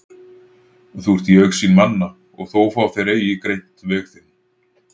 Þú ert í augsýn manna og þó fá þeir eigi greint veg þinn.